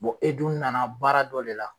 e dun nana baara dɔ de la.